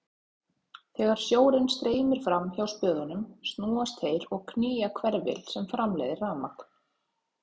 Þegar sjórinn streymir fram hjá spöðunum snúast þeir og knýja hverfil sem framleiðir rafmagn.